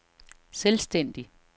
selvstændig